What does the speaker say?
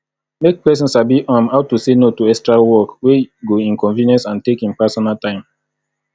make persin sabi um how to say no to extra work wey go inconvience and take in personal time